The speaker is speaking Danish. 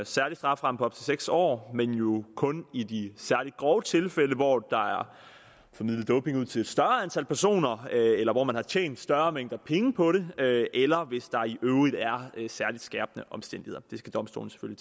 særlig strafferamme på op til seks år men jo kun i de særligt grove tilfælde hvor der er formidlet doping ud til et større antal personer eller hvor man har tjent større mængder penge på det eller hvis der i øvrigt er er særligt skærpende omstændigheder det skal domstolene